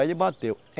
Aí, ele bateu.